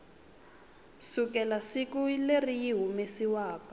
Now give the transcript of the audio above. sukela siku leri yi humesiwaku